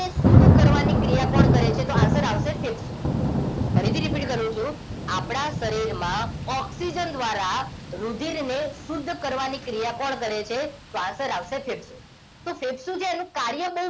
શુદ્ધ કરવાની ક્રિયા કોણ કરે છે તો answer આવશે ફેફસુ ફરીથી repeat કરું છું આપણા શરીરમાં ઓક્સિજન દ્વારા રુધિરને શુદ્ધ કરવાની ક્રિયા કોણ કરે છે તો આન્સર આવશે ફેફસુ તો ફેફસુ છે એનું કાર્ય બહુ